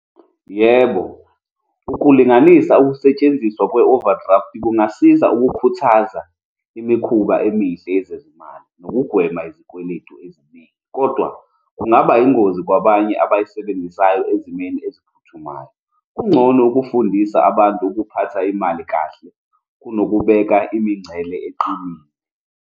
Yebo, ukulinganisa ukusetshenziswa kwe-overdraft kungasiza ukukhuthaza imikhuba emihle yezezimali nokugwema izikweletu eziningi. Kodwa kungaba ingozi kwabanye abayisebenzisayo ezimeni eziphuthumayo. Kungcono ukufundisa abantu ukuphatha imali kahle kunokubeka imingcele eqinile.